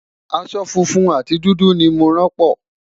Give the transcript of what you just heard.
aṣọ funfun àti dúdú ní mọ ràn po